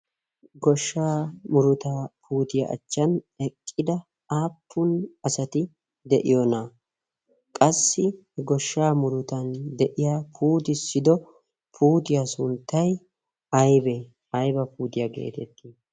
goshshaa muruta putiyaa achchan eqqida aappun asati de'iyoonaa? qassi he goshshaa murutan de'iya puutissido putiyaa sunttai aybee ayba puutiyaa geetettii?